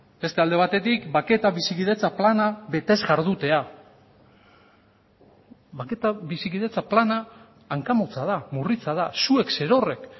beste alde batetik bake eta bizikidetza plana betez jardutea bake eta bizikidetza plana hanka motza da murritza da zuek zerorrek